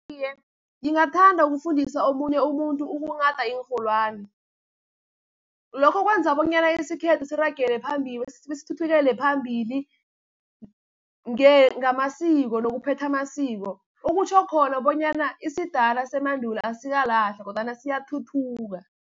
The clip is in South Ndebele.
Iye ngingathanda ukufundisa omunye umuntu ukunghada iinrholwani. Lokho kwenza bonyana isikhethu siragele phambili, sithuthukele phambili ngamasiko nokuphetha amasiko. Okutjho khona bonyana isidala semandulo asikalahlwa kodwana siyathuthuka.